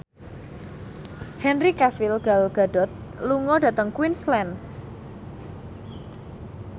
Henry Cavill Gal Gadot lunga dhateng Queensland